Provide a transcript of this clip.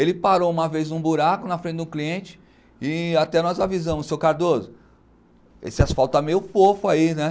Ele parou uma vez num buraco na frente do cliente e até nós avisamos, seu Cardoso, esse asfalto tá meio fofo aí, né?